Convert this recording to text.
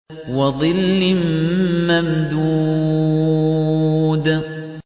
وَظِلٍّ مَّمْدُودٍ